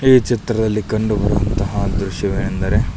ಈ ಚಿತ್ರದಲ್ಲಿ ಕಂಡು ಬರುವತಹ ದ್ರಶ್ಯ ವೆನೆದರೆ --